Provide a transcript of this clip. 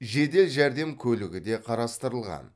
жедел жәрдем көлігі де қарастырылған